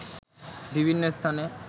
বিভিন্ন স্থানে